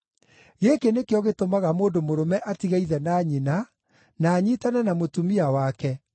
‘Gĩkĩ nĩkĩo gĩtũmaga mũndũ mũrũme atige ithe na nyina na anyiitane na mũtumia wake,